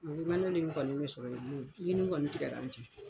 O ye sɔrɔ mun ye kɔni tigɛla an cɛ .